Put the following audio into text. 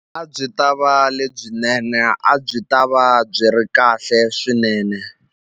A byi ta va lebyinene a byi ta va byi ri kahle swinene.